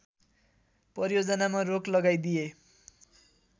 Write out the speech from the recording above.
परियोजनामा रोक लगाइदिए